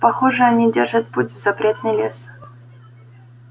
похоже они держат путь в запретный лес